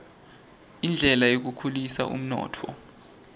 indlela yekukhulisa umnotfo